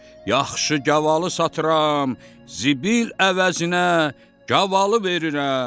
Yaxşı gavalı satıram, zibil əvəzinə gavalı verirəm.